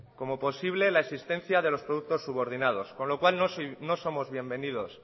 como posible la existencia de los productos subordinados con lo cual no somos bienvenidos